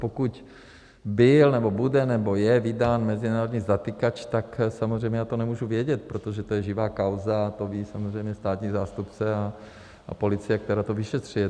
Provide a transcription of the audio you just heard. Pokud byl nebo bude nebo je vydán mezinárodní zatykač, tak samozřejmě já to nemůžu vědět, protože to je živá kauza a to ví samozřejmě státní zástupce a policie, která to vyšetřuje.